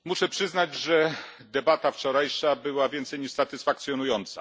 Muszę przyznać, że debata wczorajsza była więcej niż satysfakcjonująca.